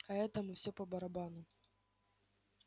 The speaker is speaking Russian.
а этому всё по барабану